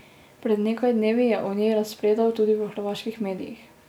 Pred nekaj dnevi je o njej razpredal tudi v hrvaških medijih.